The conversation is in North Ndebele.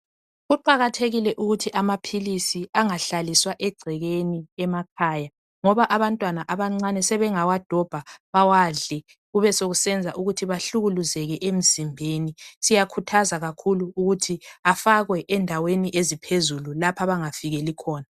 Kuqakathekile ukuthi amaphilisi angahlaliswa egcekeni emakhaya ngoba abantwana abancane sebengawadobha bawadle kubesekusenza ukuthi bahlukuluzeke emzimbeni. Siyakhuthaza kakhulu ukuthi afakwe endaweni eziphezulu lapho abangafikeli khona